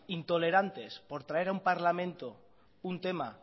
intolerantes por traer a un parlamento un tema